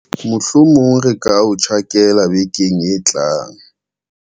Mohlomong re ka o tjhakela vekeng e tlang.